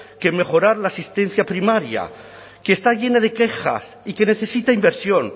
que mejorar la asistencia primaria que está llena de quejas y que necesita inversión